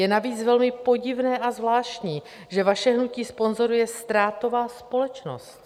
Je navíc velmi podivné a zvláštní, že vaše hnutí sponzoruje ztrátová společnost.